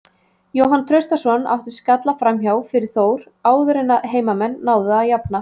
Jóhann Traustason átti skalla framhjá fyrir Þór áður en að heimamenn náðu að jafna.